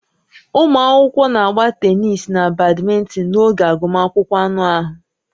Ụmụ akwụkwọ na-agba tenis na badminton n'oge agụmagụ anụ ahụ